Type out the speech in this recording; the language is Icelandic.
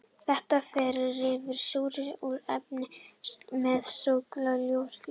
Þetta ferli rýfur súrefni úr efnatengslum með svokallaðri ljóstillífun.